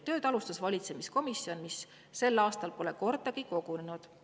Tööd alustas valitsuskomisjon, mis sel aastal pole kordagi kogunenud.